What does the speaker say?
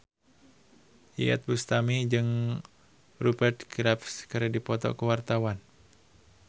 Iyeth Bustami jeung Rupert Graves keur dipoto ku wartawan